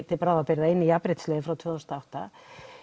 til bráðabrigða inn í jafnréttislaun frá tvö þúsund og átta